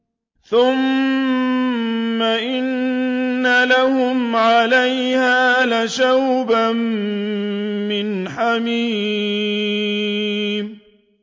ثُمَّ إِنَّ لَهُمْ عَلَيْهَا لَشَوْبًا مِّنْ حَمِيمٍ